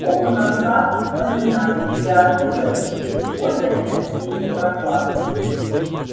окна в сад подняты и оттуда веет бодрой осенней прохладой